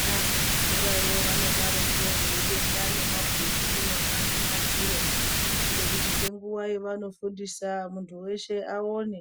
Nyama kuzvikora vanodaroko veibeka nebhodhi akona mumadziro kuitire kuti ngenguwa yavanofundisa mundu weshe aone